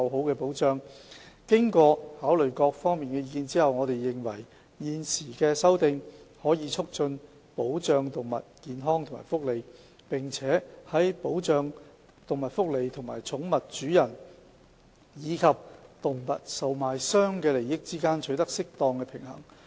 經考慮各方意見後，我們認為現行的修訂規例可以促進保障動物健康和福利，並且在保障動物福利和寵物主人，以及動物售賣商的利益之間取得適當平衡。